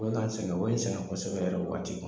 U be ka n sɛgɛn o n sɛgɛn kɔsɛbɛ yɛrɛ waati